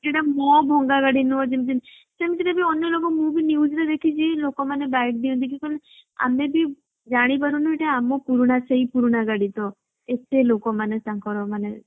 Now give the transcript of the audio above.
ସେଇଟା ମୋ ଭଙ୍ଗା ଗାଡି ନୁହଁ ଯିମିତି ସେମିତିରେ ବି ଅନ୍ୟ ଲୋକ ମୁଁ ବି news ରେ ଦେଖିଛି ସେଇ ଲୋକ ମାନେ ଦିଅନ୍ତି କି ଆମେ ବି ଜାଣି ପାରୁନୁ ଏଇଟା ଆମ ପୁରୁଣା ସେଇ ପୁରୁଣା ଗାଡି ତ ଏତେ ଲୋକ ମାନେ ତାଙ୍କର ମାନେ